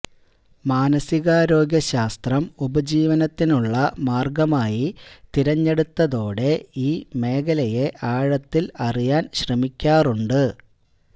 മാനസികാരോഗ്യ ശാസ്ത്രം ഉപജീവനത്തിനുള്ള മാര്ഗ്ഗമായി തിരഞ്ഞെടുത്തതോടെ ഈ മേഖലയെ ആഴത്തില് അറിയാന് ശ്രമിക്കാറുണ്ട്